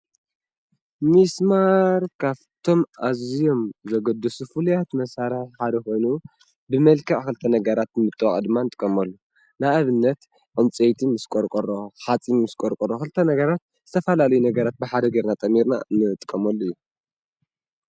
ምስማር ካብቶም ኣዝዮም ዘገድሱ ፍሉያት መሳርሒ ሓደ ኮይኑ ብመልክዕ ክልተ ነገራት ብምጥባቅ ድማ ንጥቀመሉ፡፡ ንኣብነት ዕንፀይቲ ምስ ቆርቆሮ ፣ ሓፂን ምስ ቆርቆሮ ክልተ ነገራት ዝተፈላለዩ ነገራት ብሓደ ገይርና ጠሚርና እንጥቀመሉ እዩ፡፡